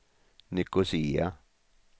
Nicosia